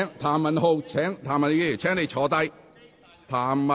譚文豪議員，請坐下。